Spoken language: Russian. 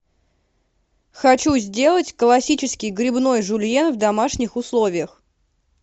хочу сделать классический грибной жюльен в домашних условиях